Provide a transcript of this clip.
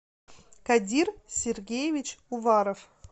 кадир сергеевич уваров